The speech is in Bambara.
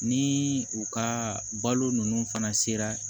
Ni u ka balo ninnu fana sera